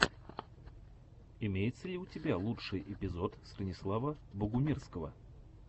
имеется ли у тебя лучший эпизод станислава богумирского